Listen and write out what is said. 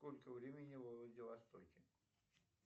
сколько времени во владивостоке